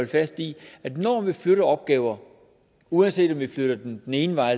fast i at når vi flytter opgaver uanset om vi flytter dem den ene vej